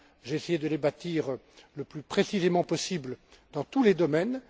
J'ai essayé de les bâtir le plus précisément possible dans tous les domaines.